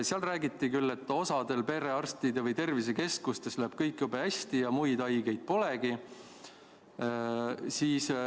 Seal räägiti küll, et osal perearstidel või tervisekeskustel läheb kõik jube hästi ja muid haigeid polegi.